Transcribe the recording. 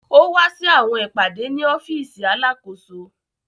O wa si awọn ipade ni ọfiisi Alakoso.